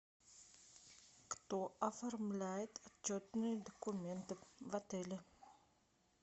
кто оформляет отчетные документы в отеле